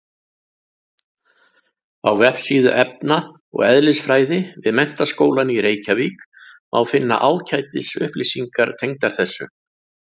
Á vefsíðu efna- og eðlisfræði við Menntaskólann í Reykjavík má finna ágætis upplýsingar tengdar þessu.